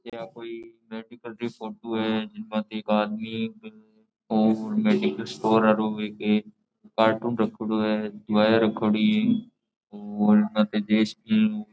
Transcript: यह कोई मेडिकल री फोटो है जिन माते एक आदमी और मेडिकल स्टोर कार्टून रख्योड़ो है दवाइयां रखोड़ी और --